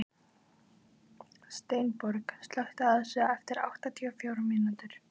Steinborg, slökktu á þessu eftir áttatíu og fjórar mínútur.